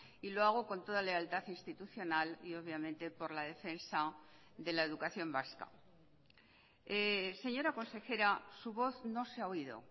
y lo hago con toda lealtad institucional y obviamente por la defensa de la educación vasca señora consejera su voz no se ha oído